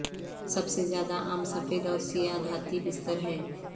سب سے زیادہ عام سفید اور سیاہ دھاتی بستر ہیں